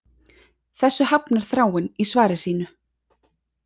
Þessu hafnar Þráinn í svari sínu